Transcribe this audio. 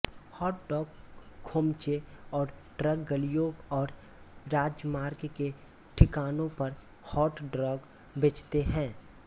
hot dog खोमचे और truck गलियों और राजमार्ग के ठिकानों पर हॉट डॉग बेचते हैं